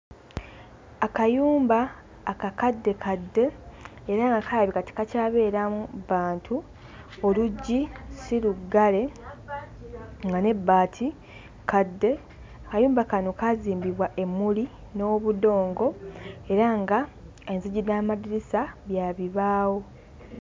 Akayumba akakaddekadde era nga kalabika tekakyabeeramu bantu oluggi si luggale nga n'ebbaati kkadde kayumba kano kaazimbibwa emmuli n'obudongo era nga enzigi n'amadirisa bya bibaawo.